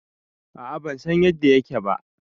A a ban san yadda yake ba